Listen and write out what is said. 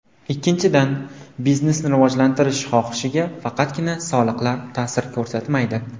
Ikkinchidan, biznesni rivojlantirish xohishiga faqatgina soliqlar ta’sir ko‘rsatmaydi.